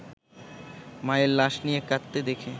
মায়ের লাশ নিয়ে কাঁদতে দেখে